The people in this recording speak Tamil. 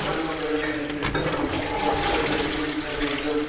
உணவுகளைக் கடைபிடித்து அவற்றையும் பசித்த பிறகு உண்ண வேண்டும்